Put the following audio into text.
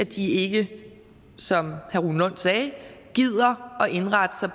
de ikke som herre rune lund sagde gider at indrette sig